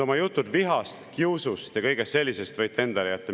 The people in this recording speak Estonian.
Oma jutud vihast, kiusust ja kõigest sellisest võite endale jätta.